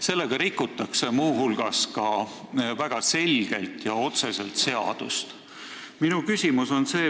Sellega rikutakse muu hulgas väga selgelt ja otseselt seadust.